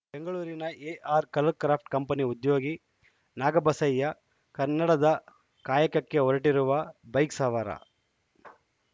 ಬೆಂಗಳೂರಿನ A R colour craft ಉದ್ಯೋಗಿ ನಾಗಬಸಯ್ಯ ಕನ್ನಡದ ಕಾಯಕಕ್ಕೆ ಹೊರಟಿರುವ ಬೈಕ್‌ ಸವಾರ